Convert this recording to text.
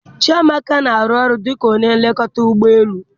Chiamaka na-arụ ọrụ dị ka onye nlekọta ụgbọ elu